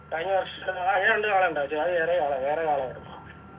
കഴിഞ്ഞ വർഷം ആ ഉണ്ട് കാള ഉണ്ട് അത് വേറെകാള വേറെയാളായിരുന്നു